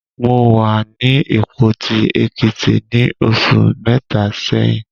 Mo wà ní Ìpoti, Èkìtì ní oṣù mẹ́ta sẹ́yìn.